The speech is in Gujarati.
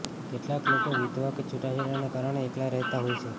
કેટલાંક લોકો વિધવા કે છૂટાછેડાને કારણે એકલા રહેતા હોય છે